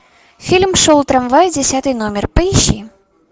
фильм шел трамвай десятый номер поищи